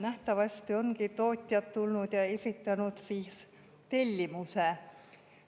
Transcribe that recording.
Nähtavasti ongi tootjad tulnud ja esitanud tellimuse.